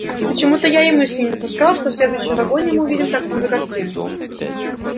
почему-то я и мысли не допускал что в следующем вагоне мы увидим такую же картину